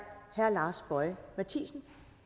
herre lars boje mathiesen